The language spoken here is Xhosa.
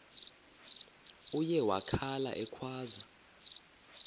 uye wakhala ekhwaza